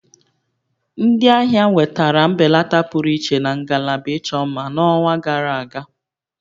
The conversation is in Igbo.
Ndị ahịa nwetara mbelata pụrụ iche na ngalaba ịchọ mma n'ọnwa gara aga